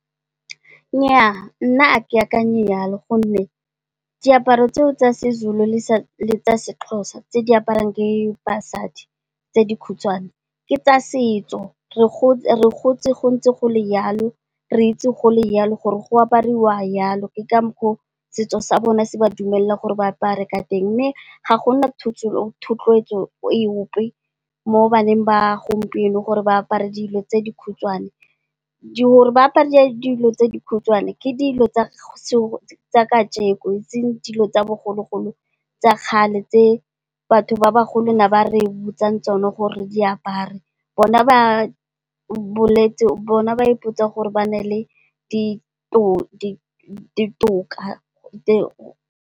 Nnyaa nna ga ke akanye yalo gonne diaparo tseo tsa Sezulu le tsa Sexhosa tse di aparwang ke basadi tse dikhutshwane ke tsa setso, re gotse go ntse go le yalo, re itse go le yalo, gore go aparwa yalo, ke ka mokgwa oo setso sa bone se ba dumelelang gore ba apare ka teng. Mme, ga gona thotloetso epe mo baneng ba gompieno gore ba apare dilo tse dikhutshwane. Gore, ba apare dilo tse dikhutshwane ke dilo tsa kajeko, eseng dilo tsa bogologolo tse batho ba bagolo ba ne ba re botsa gore re di apare bona ba ipotsa gore ba na le ditoka .